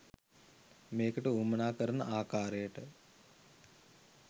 මේකට වුවමනා කරන ආකාරයට